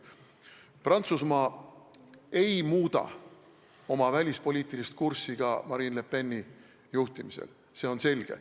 Prantsusmaa ei muuda oma välispoliitilist kurssi ka Marine Le Peni juhtimisel, see on selge.